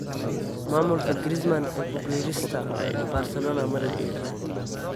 Maamulka Griezmann ee ku biirista Barcelona ma loo joojiyay?